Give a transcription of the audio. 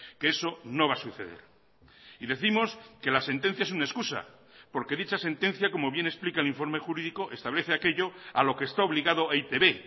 que eso no va a suceder y décimos que la sentencia es una excusa porque dicha sentencia como bien explica el informe jurídico establece aquello a lo que está obligado e i te be